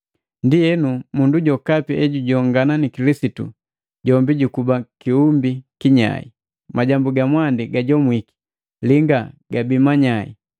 Ndienu, mundu jokapi ejujongana ni Kilisitu, jombi jukuba kiumbi kinyai. Majambu ga mwandi gajomwiki linga gabii manyai.